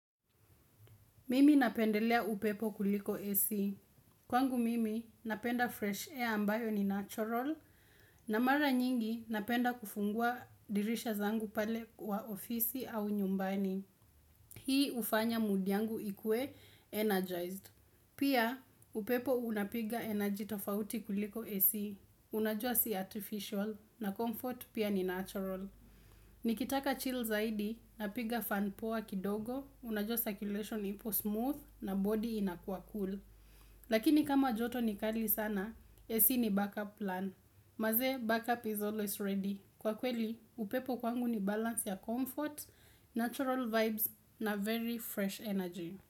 Mimi napendelea upepo kuliko AC Kwangu mimi napenda fresh air ambayo ni natural, na mara nyingi napenda kufungua dirisha zangu pale wa ofisi au nyumbani. Hii hufanya mudi yangu ikue energized. Pia upepo unapiga energy tofauti kuliko AC unajua si artificial, na comfort pia ni natural. Nikitaka chill zaidi, napiga fan poa kidogo, Unajua circulation ipo smooth na body ina kwa cool Lakini kama joto ni kali sana, AC ni backup plan Manze, backup is always ready Kwa kweli, upepo kwangu ni balance ya comfort, natural vibes na very fresh energy.